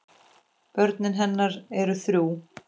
Börn hennar eru þrjú.